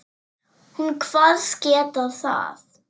Hún kvaðst geta það.